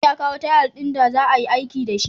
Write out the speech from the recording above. Ibrahim ya kawo tayal din da za'ayi aiki dashi